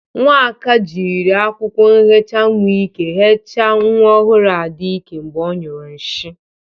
Nwaka jiri akwụkwọ ihecha nwa ike hecha nwa ọhụrụ Ada ike mgbe ọ nyụrụ nshi.